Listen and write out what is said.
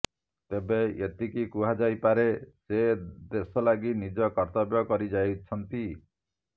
ତେବେ ଏତିକି କୁହାଯାଇପାରେ ସେ ଦେଶ ଲାଗି ନିଜ କର୍ତ୍ତବ୍ୟ କରିଯାଇଛନ୍ତି